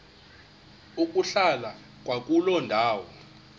ukuhlala kwakuloo ndawo